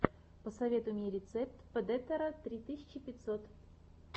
посоветуй мне рецепт предэтора три тысячи пятьсот